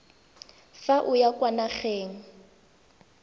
fa o ya kwa nageng